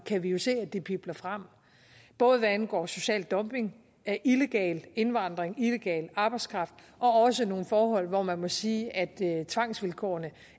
kan vi jo se at det pibler frem både hvad angår social dumping illegal indvandring illegal arbejdskraft og også nogle forhold hvor man må sige at tvangsvilkårene